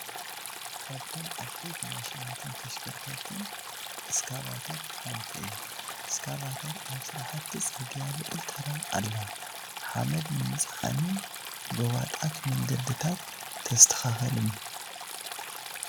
ካብቶም ዓበይቲ ማሽናትን ተሽከርከርትን ሓንቲ እስካቫተር ሓንቲ እያ፡፡ እስካቫተር ኣብ ስራሕቲ ፅርግያ ልዑል ተራ ኣለዋ፡፡ ሓመድ ንምፅዓንን ጎባጣታት መንገድታት ተስተኻኽልን፡፡ ደ